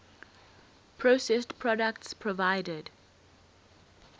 processed products provided